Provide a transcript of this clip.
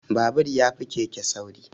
Babur ya fi keke sauri